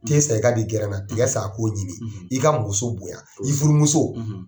Te san i k'a di tiga san ko ɲimi ka muso bonya i furumuso